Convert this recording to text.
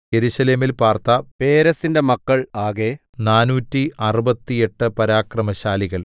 യെരൂശലേമിൽ പാർത്ത പേരെസിന്റെ മക്കൾ ആകെ നാനൂറ്റി അറുപത്തി എട്ട് പരാക്രമശാലികൾ